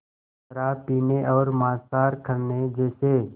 शराब पीने और मांसाहार करने जैसे